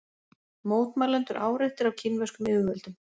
Mótmælendur áreittir af kínverskum yfirvöldum